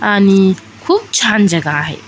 आणि खुप छान जगा आहे.